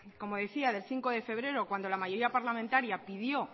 del cinco de febrero cuando la mayoría parlamentaria pidió